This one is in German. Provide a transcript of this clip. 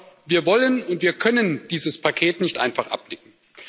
Aber wir wollen und wir können dieses Paket nicht einfach abnicken.